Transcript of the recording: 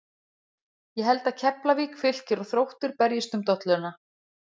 Ég held að Keflavík, Fylkir og Þróttur berjist um dolluna.